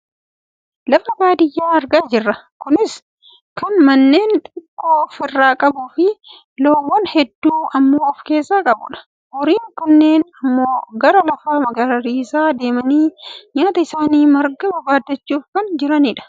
Lafa baadiyyaa argaa jirra. Kunis kan manneen xixiqqoo of irraa qabuufi loowwan hedduu ammoo of keessaa qabudha. Horiin kunneen ammoo gara lafa magariisaa deemanii nyaata isaanii marga barbaaddachuuf kan jiranidha.